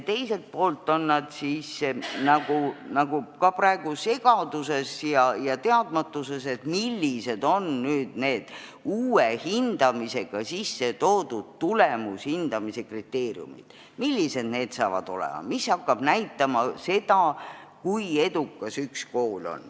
Teisalt on juhid praegu segaduses ja teadmatuses, millised on nüüd need uue hindamisega sisse toodud tulemushindamise kriteeriumid ja mis hakkab näitama seda, kui edukas üks kool on.